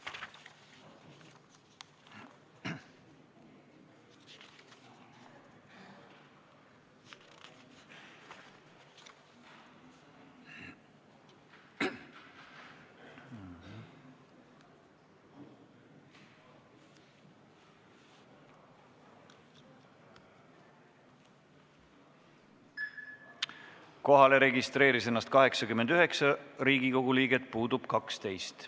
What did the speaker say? Kohaloleku kontroll Kohalolijaks registreeris ennast 89 Riigikogu liiget, puudub 12.